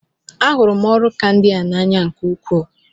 A hụrụ m ọrụ ka ndị a n'anya nke ukwuu.